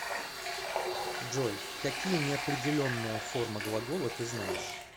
джой какие неопределенная форма глагола ты знаешь